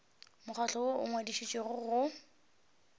mokgatlo woo o ngwadišitšwego go